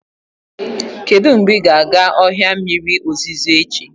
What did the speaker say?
Kedu mgbe ị ga-aga ọhịa mmiri ozuzo echi?